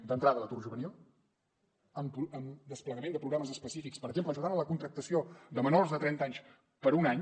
d’entrada l’atur juvenil amb desplegament de programes específics per exemple ajudant en la contractació de menors de trenta anys per un any